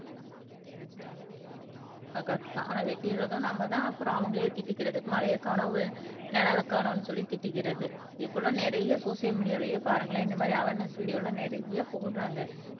ஆஹ் correct தான் ஆனா வெட்டிறதும் நாமதான் அப்புறம் அவங்களையே திட்டிக்கிறது மலையை காணோம் நிழலைக் காணோம்ன்னு சொல்லி திட்டிக்கிறது இப்பல்லாம் நிறைய சோசியல் மீடியாலயே பாருங்களேன் இந்த மாதிரி அவரென்ஸ் வீடியோல நிறைய போடுறாங்க